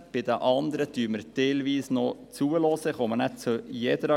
Bei den anderen werden wir teilweise noch zuhören, was dazu gesagt wird.